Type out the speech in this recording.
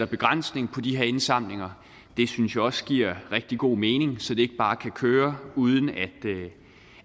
begrænsning på de her indsamlinger det synes jeg også giver rigtig god mening så det ikke bare kan køre uden